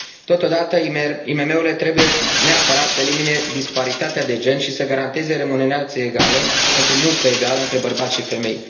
Totodată, IMM urile trebuie neapărat să elimine disparitatea de gen și să garanteze remunerație egală pentru muncă egală între bărbați și femei.